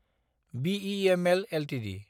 BEML Ltd